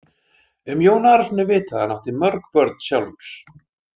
Um Jón Arason er vitað að hann átti mörg börn sjálfur.